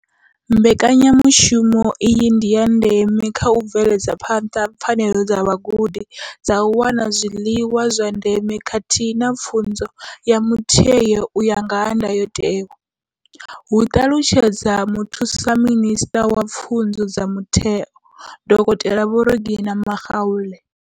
Mbekanyamushumo iyi ndi ya ndeme kha u bveledza phanḓa pfanelo dza vhagudi dza u wana zwiḽiwa zwa ndeme khathihi na pfunzo ya mutheo u ya nga ndayotewa hu ṱalutshedza muthusa minisṱa wa pfunzo dza Mutheo, dokotela Vho Reginah Mhaule.